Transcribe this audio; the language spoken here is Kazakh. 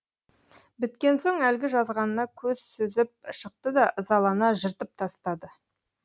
біткен соң әлгі жазғанына көз сүзіп шықты да ызалана жыртып тастады